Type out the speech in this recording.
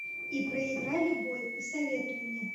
и проиграли бой посоветуй мне